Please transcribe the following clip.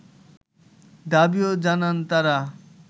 দাবিও জানান তারা